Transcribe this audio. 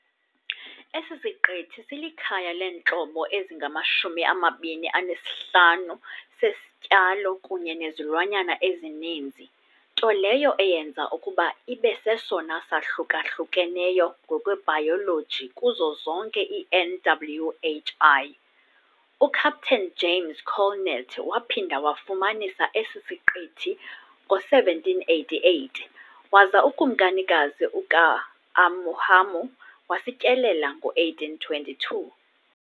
Esi siqithi silikhaya leentlobo ezingama-25 sesityalo kunye nezilwanyana ezininzi, nto leyo eyenza ukuba ibe sesona sahluka-hlukeneyo ngokwebhayoloji kuzo zonke i-NWHI. UCaptain James Colnett waphinda wafumanisa esi siqithi ngo-1788, waza uKumkanikazi uKa'ahumanu wasityelela ngo-1822.